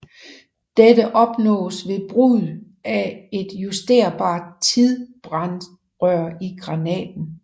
Dette opnås ved brug af et justerbart tidsbrandrør i granaten